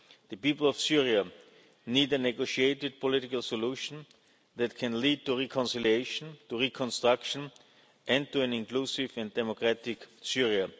The people of Syria need a negotiated political solution that can lead to reconciliation, to reconstruction and to an inclusive and democratic